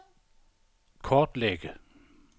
kortlægge